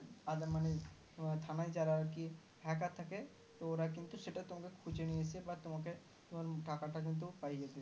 ওদের মানে থানায় যারা আর কি Hacker থাকে ত ওরা কিন্তু সেটা তোমাকে খুঁজে নিয়ে এসে বা তোমাকে তোমার টাকাটা কিন্তু পাইয়ে দেবে